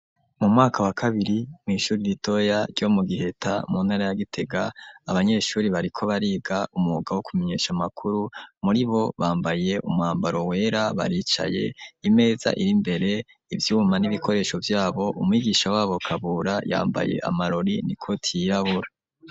Mu mwaka wa kabiri mw'ishuri ritoya ryo mu Giheta mu ntara ya Gitega. Abanyeshuri bariko bariga umwuga wo kumenyesha amakuru muri bo bambaye umwambaro wera baricaye .Imeza iri mbere ivyuma n'ibikoresho vyabo umwigisha wabo Kabura yambaye amarori nikoti y'irabura.